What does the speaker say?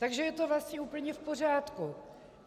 Takže je to vlastně úplně v pořádku?